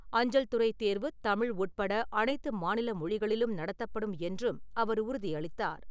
அஞ்சல்துறை தேர்வு தமிழ் உட்பட அனைத்து மாநில மொழிகளிலும் நடத்தப்படும் என்றும் அவர் உறுதியளித்தார்.